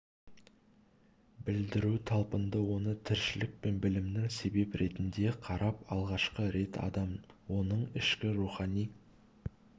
білдіру талпынды оны тіршілік пен білімнің себеп ретінде қарап алғашқы рет адам оның ішкі рухани